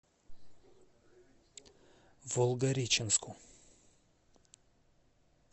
волгореченску